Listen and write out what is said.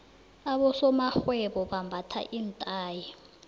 abosomarhwebo bambatha iinthayi